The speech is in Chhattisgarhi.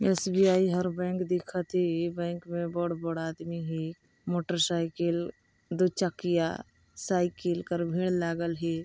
एस_बी_आई हर बैंक दिखत हे इ बैंक मे बड़ बड़ आदमी हे मोटरसाइकिल दु चकिया साइकिल कर भीड़ लागल हे।